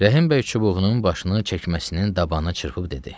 Rəhim bəy çubuğunun başını çəkməsinin dabanına çırpıb dedi.